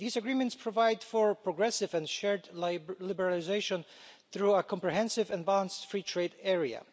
These agreements provide for progressive and shared liberalisation through a comprehensive and balanced free trade area.